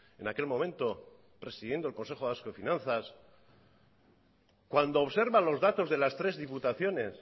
en aquel momento presidiendo el consejo vasco de finanzas cuando observa los datos de las tres diputaciones